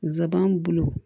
Nsaban bolo